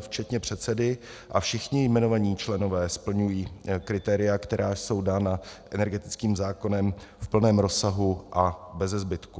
včetně předsedy a všichni jmenovaní členové splňují kritéria, která jsou dána energetickým zákonem v plném rozsahu a beze zbytku.